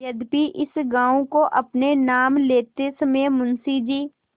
यद्यपि इस गॉँव को अपने नाम लेते समय मुंशी जी